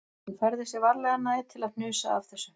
Hún færði sig varlega nær til að hnusa af þessu